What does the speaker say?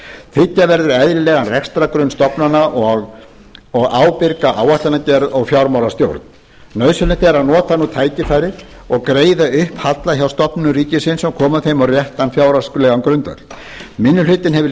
tryggja verður eðlilegan rekstrargrunn stofnana og ábyrga áætlanagerð og fjármálastjórn nauðsynlegt er að nota nú tækifærið og greiða upp halla hjá stofnunum ríkisins og koma þeim á réttan fjárhagslegan grundvöll minni hlutinn hefur lýst